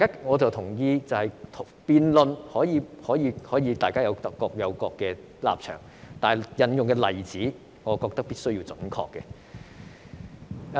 我同意辯論可以各自表達立場，但所引用的例子必須準確。